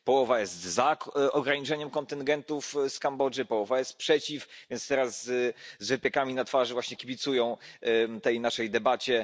Połowa jest za ograniczeniem kontyngentów z Kambodży, połowa jest przeciw, więc teraz z wypiekami na twarzy właśnie kibicują tej naszej debacie.